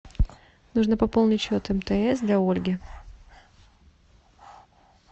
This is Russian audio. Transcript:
нужно пополнить счет мтс для ольги